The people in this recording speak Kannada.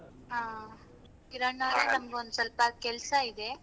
ಹಾ ಕಿರಣ ನನಗ್ ಸ್ವಲ್ಪ ಕೆಲ್ಸ ಇದೆ.